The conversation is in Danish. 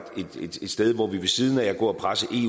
sted hvor vi ved siden af at gå og presse på i